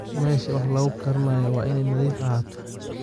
Meesha wax lagu karinayo waa inay nadiif ahaato.